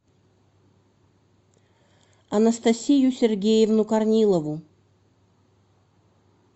анастасию сергеевну корнилову